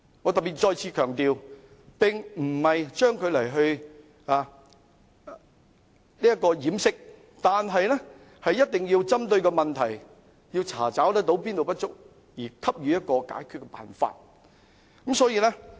我特別再次強調，當局不要將問題掩飾，而一定要針對問題，查找不足之處，並給予解決辦法。